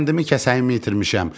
Kəndimi, kəsəyimi itirmişəm.